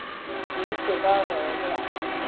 Skyldi það vera rétt?